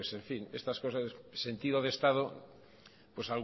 pues estas cosas sentido de estado pues